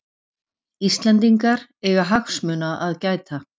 Íslendingar eiga hagsmuna að gæta